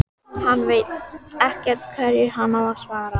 Hann veit ekkert hverju hann á að svara.